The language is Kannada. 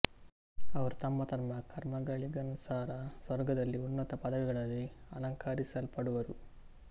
ಅವರು ತಮ್ಮ ತಮ್ಮ ಕರ್ಮಗಳಿಗನುಸಾರ ಸ್ವರ್ಗದಲ್ಲಿ ಉನ್ನತ ಪದವಿಗಳಲ್ಲಿ ಅಲಂಕರಿಸಲ್ಪಡುವರು